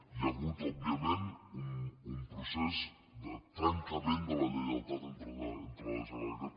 hi ha hagut òbviament un procés de trencament de la lleialtat entre la generalitat